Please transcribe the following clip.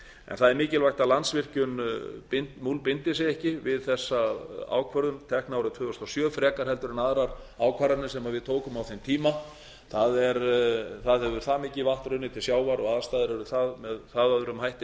en það er mikilvægt að landsvirkjun múlbindi sig ekki við þessa ákvörðun tekna árið tvö þúsund og sjö frekar heldur en aðrar ákvarðanir sem við tókum á þeim tíma það hefur það mikið vatn runnið til sjávar og aðstæður eru með það öðrum hætti